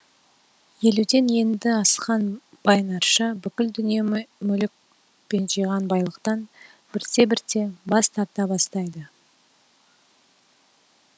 елуден енді асқан бай нарша бүкіл дүние мүлік пен жиған байлықтан бірте бірте бас тарта бастайды